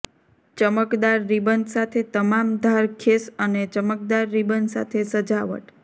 ચમકદાર ribbon સાથે તમામ ધાર ખેસ અને ચમકદાર રિબન સાથે સજાવટ